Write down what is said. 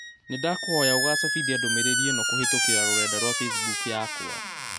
Nĩndakũhoya úcabithia ndũmĩrĩri ĩnokũhītũkīra rũrenda rũa facebook yakwa